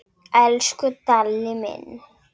Elsku Dalli minn.